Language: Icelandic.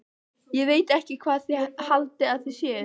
Ég veit ekki hvað þið haldið að þið séuð.